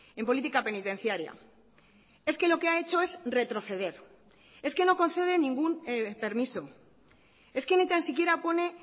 en política penitenciaria es que lo que ha hecho es retroceder es que no concede ningún permiso es que ni tan siquiera pone